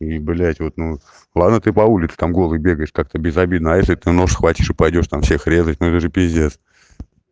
и блядь вот ну ладно ты по улице там голый бегаешь так-то без обидно если ты нож схватишь и пойдёшь там всех резать ну это же пиздец